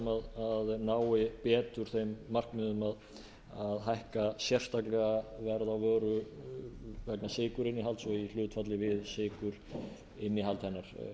sem nái betur þeim markmiðum að hækka sérstaklega verð á vöru vegna sykurinnihalds og í hlutfalli við sykurinnihald hennar